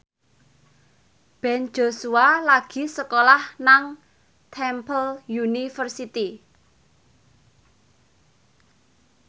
Ben Joshua lagi sekolah nang Temple University